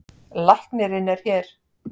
Læknirinn er hér.